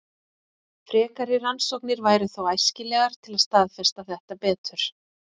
Frekari rannsóknir væru þó æskilegar til að staðfesta þetta betur.